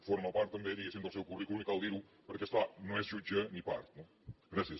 forma part també diguéssim del seu currículum i cal dir ho perquè és clar no és jutge ni part no gràcies senyora presidenta